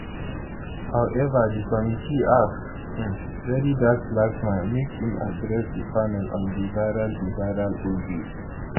however di committee ask um verydarkblackman make im address di panel on di viral di viral audio